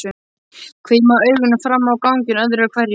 Hvimaði augunum fram á ganginn öðru hverju.